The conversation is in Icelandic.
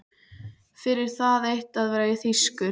Fyrir það eitt að vera þýskur.